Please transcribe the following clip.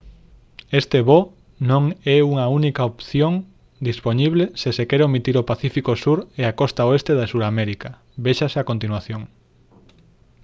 este voo non é a única opción dispoñible se se quere omitir o pacífico sur e a costa oeste de suramérica véxase a continuación